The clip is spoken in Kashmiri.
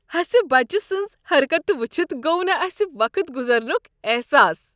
ۂسۍبچہٕ سٕنز حرکتہٕ وٕچھتھ گوٚو نہٕ اسہ وقت گزرنک احساس۔